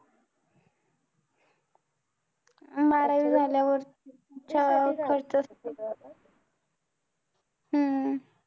बारावी झाल्यावर हम्म